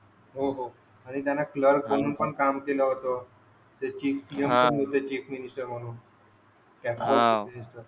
हो हो आणि त्यांनी कलर्क म्हणून पण काम केलं होतं chief minister chief minister म्हणून